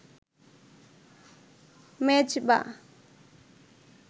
Mezba